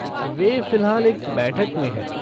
वे फ़िलहाल एक बैठक में हैं।